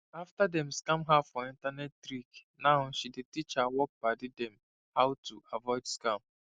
after dem scam her for internet trick now she dey teach her work padi dem how to avoid scam